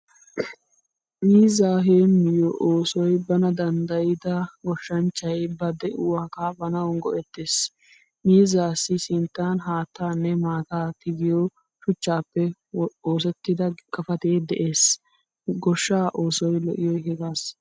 Miizza heemiyo oosoy bana danddayida goshshanchchay ba de'uwaa kaafanawu go'ettees. Miizzasi sinttan haattanne maataa tigiyo shuchcappe oosettida gafate de'ees. Goshshaa oosoy lo'iyoy hagaasa.